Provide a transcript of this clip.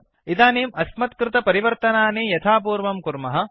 इदानीं अस्मत्कृत परिवर्तनानि यथापूर्वं कुर्मः